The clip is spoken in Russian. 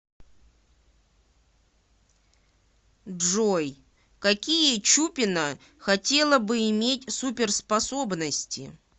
джой какие чупина хотела бы иметь суперспособности